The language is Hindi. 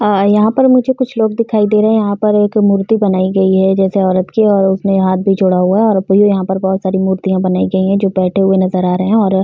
अ यहाँ पर मुझे कुछ लोग दिखाई दे रहे हैं। यहाँ पर एक मूर्ति बनाई गई है जैसे औरत की है और उसने हाथ भी जोड़ा हुआ है और यहाँ पर बहोत सारी मुर्तियाँ बनाई गई है जो बैठे हुए नजर आ रहे हैं और --